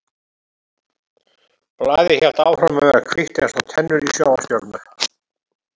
Blaðið hélt áfram að vera hvítt eins og tennur í sjónvarpsstjörnu.